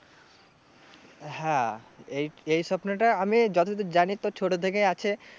হ্যাঁ এই এই স্বপ্নটা আমি যতদূর জানি তোর ছোটো ছোটো থেকেই আছে